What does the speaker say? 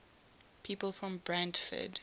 people from brantford